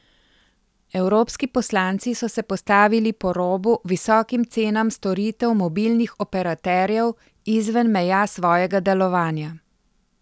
Evropski poslanci so se postavili po robu visokim cenam storitev mobilnih operaterjev izven meja svojega delovanja.